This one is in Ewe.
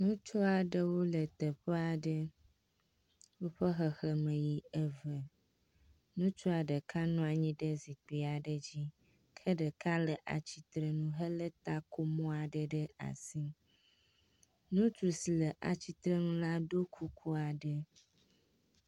Ŋutsu aɖewo le teƒe aɖe woƒe xexleme yi eve. Ŋutsua nɔ anyi ɖe zikpui aɖe dzi ke ɖeka le atsitre nu hele takomɔ aɖe ɖe asi. Ŋutsu si le atsitrenu la ɖo kuku aɖe.